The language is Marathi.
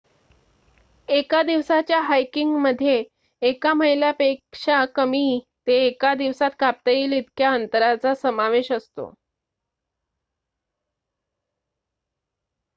एका दिवसाच्या हायकिंगमध्ये एका मैलापेक्षा कमी ते एका दिवसात कापता येईल इतक्या अंतराचा समावेश असतो